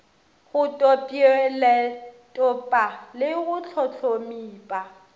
go tpweletpa le go hlohlomipa